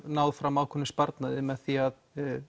náð fram ákveðnum sparnaði með því að